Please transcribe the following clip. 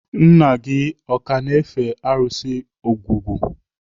Nna nna gị o ka na-efe arụsị ogwugwu?